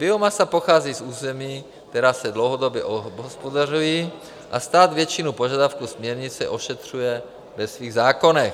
Biomasa pochází z území, která se dlouhodobě obhospodařují, a stát většinu požadavků směrnice ošetřuje ve svých zákonech.